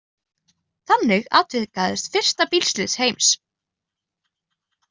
Þannig atvikaðist fyrsta bílslys heims.